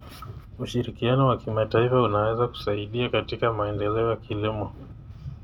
Ushirikiano wa kimataifa unaweza kusaidia katika maendeleo ya kilimo.